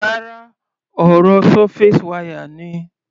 Rárá, ọ̀rọ̀ surface wire ni.